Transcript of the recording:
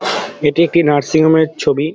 এটি একটি nursing home -এর ছবি ।